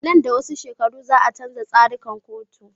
Nan da wasu shekaru za a canja tsarikan katu